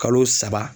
Kalo saba